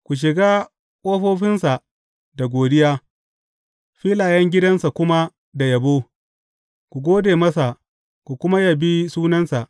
Ku shiga ƙofofinsa da godiya filayen gidansa kuma da yabo; ku gode masa ku kuma yabi sunansa.